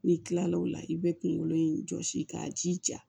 N'i kilal'o la i bɛ kungolo in jɔsi k'a jija